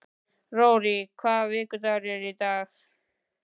Rorí, hvaða vikudagur er í dag?